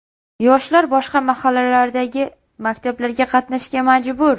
Yoshlar boshqa mahallalardagi maktablarga qatnashga majbur.